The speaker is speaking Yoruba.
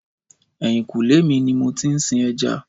Ẹ̀yìnkùlé mi ni mo ti ń sin ẹja